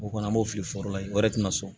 O kɔni an b'o fili foro la o yɛrɛ tɛna sɔn